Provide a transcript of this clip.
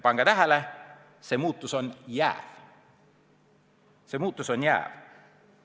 " Pange tähele, see muudatus on jääv!